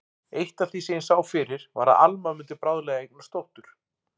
Eitt af því sem ég sá fyrir var að Alma mundi bráðlega eignast dóttur.